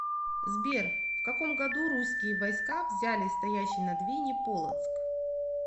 сбер в каком году русские войска взяли стоящий на двине полоцк